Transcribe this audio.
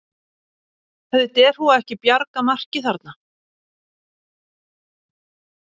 Hefði derhúfa ekki bjargað marki þarna?